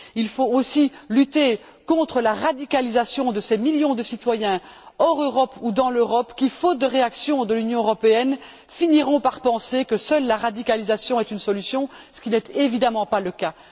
Il faut aussi lutter contre la radicalisation de ces millions de citoyens hors Europe ou dans l'Europe qui, faute de réaction de l'Union européenne, finiront par penser que seule la radicalisation est une solution, ce qui n'est évidemment pas le cas.